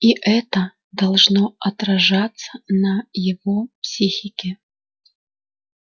и это должно отражаться на его психике